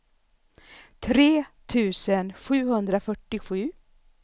tre tusen sjuhundrafyrtiosju